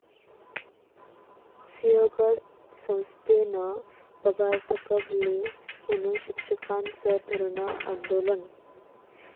सिंहगड संस्थेनं पगार थकवले म्हणून शिक्षकांचं धरणं आंदोलन